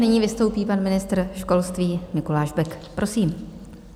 Nyní vystoupí pan ministr školství Mikuláš Bek, prosím.